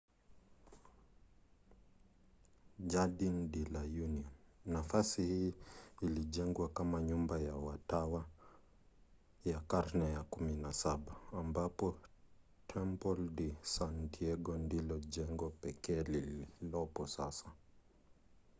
jardin de la union. nafasi hii ilijengwa kama nyumba ya watawa ya karne ya 17 ambapo templo de san diego ndilo jengo pekee lililopo sasa